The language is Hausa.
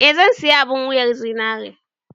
Eh, zan sayi abun wuyar zinaren.